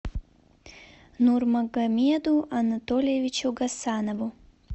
нурмагомеду анатольевичу гасанову